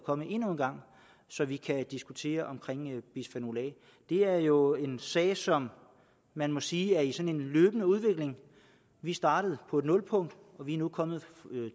kommet endnu en gang så vi kan diskutere bisfenol a det er jo en sag som man må sige er i sådan en løbende udvikling vi startede på et nulpunkt og vi er nu kommet